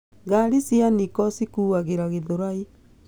Ngari cia Nicco cikuagĩra Githurai.